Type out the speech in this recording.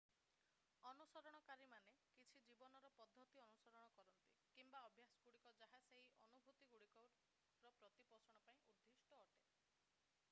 ଅନୁସରଣକାରୀମାନେ କିଛି ଜୀବନର ପଦ୍ଧତି ଅନୁସରଣ କରନ୍ତି କିମ୍ବା ଅଭ୍ୟାସଗୁଡିକ ଯାହା ସେହି ଅନୁଭୂତିଗୁଡିକର ପ୍ରତିପୋଷଣ ପାଇଁ ଉଦ୍ଦିଷ୍ଟ ଅଟେ